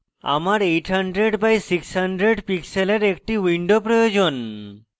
আমার 800 by 600 pixels একটি window প্রয়োজন